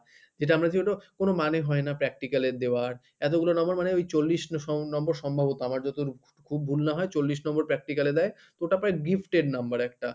যেটা আমরা যেগুলো কোনো মানে হয় না practical এর দেওয়ার এতগুলো number মানে ওই চল্লিশ number সম্ভবত আমার যত খুব ভুল না হয় চল্লিশ number practical এ দেয় তো ওটা প্রায় gift এর number একটা।